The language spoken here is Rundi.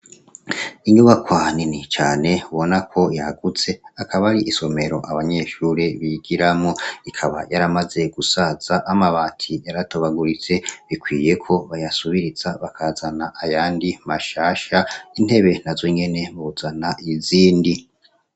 Ingubakwanini cane ubona ko yagutse akaba ari isomero abanyeshure bigiramo ikaba yaramaze gusaza amabati yaratobaguritse bikwiyeko bayasubirisa bakazana ayandi mashasha intebe na zo ngene buzana izindi.